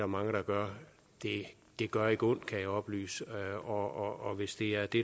mange der gør det gør ikke ondt kan jeg oplyse og hvis det er det